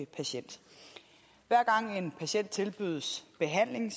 patient hver gang en patient tilbydes behandling